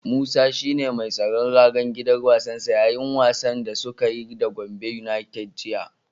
Musa shi ne mai tsaron ragar gidan wasansa yayin wasan da suka yi da Gombe yunaited jiya.